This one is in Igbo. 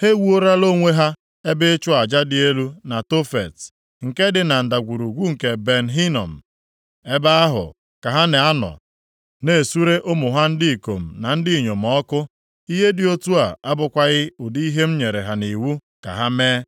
Ha ewuolara onwe ha ebe ịchụ aja dị elu na Tofet, nke dị na Ndagwurugwu nke Ben Hinom. Ebe ahụ ka ha na-anọ na-esure ụmụ ha ndị ikom na ndị inyom ọkụ. Ihe dị otu a abụkwaghị ụdị ihe m nyere ha nʼiwu ka ha mee.